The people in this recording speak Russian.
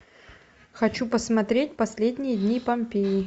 хочу посмотреть последние дни помпеи